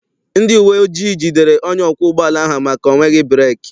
Ndị uwe ojii jidere onye ọkwọ ụgbọala ahụ maka ọ nweghị breeki.